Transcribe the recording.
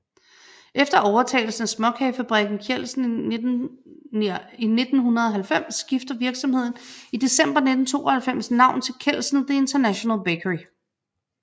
Efter overtagelsen af småkagefabrikken Kjeldsen i 1990 skifter virksomheden i december 1992 navn til Kelsen The International Bakery